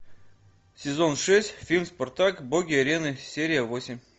сезон шесть фильм спартак боги арены серия восемь